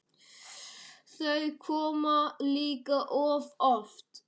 Þau koma líka of oft.